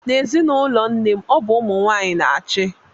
N'ezinụlọ nne m, ọ bụ ụmụ nwaanyị na-achị.